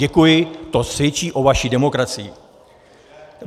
Děkuji, to svědčí o vaší demokracii.